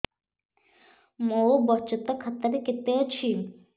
ମୋ ବଚତ ଖାତା ରେ କେତେ ଅଛି